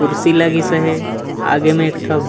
कुर्सी लगिस एवे आगे म एक ठ--